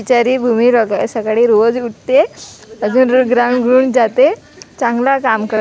बिचारी भूमी सकाळी रोज उठे राग रंगुळून जाते चांगला काम करते.